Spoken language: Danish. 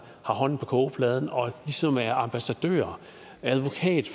hånden på kogeplade og ligesom er ambassadør advokat